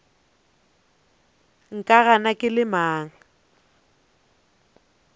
nka gana ke le mang